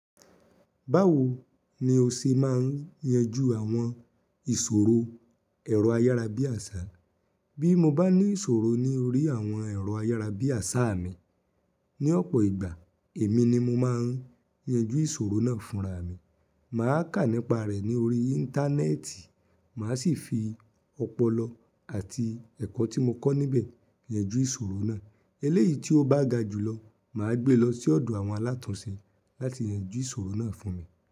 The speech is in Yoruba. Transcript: Báwo ni o ṣe máa ń yanjú àwọn ìṣòro ẹ̀rọ ayárabíàṣá? Bí mo bá ní ìṣòro ní orí àwọn ẹ̀rọ ayárabíàṣá mi ní ọ̀pọ̀ ìgbà, èmi ni mo máa ń yanjú ìṣòro náà fúnra mi. Màá kà nípa rẹ̀ ní orí Íńtánẹ́ẹ̀tì, màá sì fi ọpọlọ àti ẹ̀kọ́ tí mo kọ́ níbẹ̀ yanjú ìṣòro náà. Eléyìí tí ó bá ga jùlọ, màá gbé lọ sí ọ̀dọ̀ àwọn alátùnsé láti yanjú ìṣòro náà fún mi.